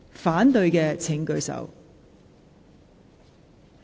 反對的請舉手。